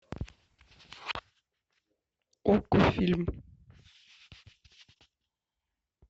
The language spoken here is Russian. окко фильм